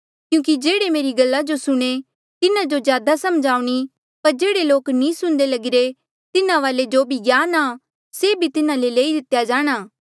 क्यूंकि जेह्ड़े मेरी गल्ला जो सुणे तिन्हा जो ज्यादा समझ आऊणीं पर जेह्ड़े लोक नी सुणदे लगिरे तिन्हा वाले जो भी ज्ञान आ से तिन्हा ले लेई लितेया जाणा